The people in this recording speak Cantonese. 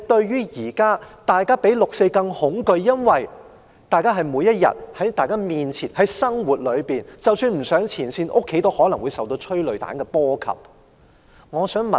現時大家的恐懼比對"六四"的恐懼更甚，因為這是發生在面前的生活當中，即使不上前線，在家中也可能受催淚彈波及。